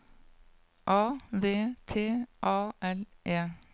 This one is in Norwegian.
A V T A L E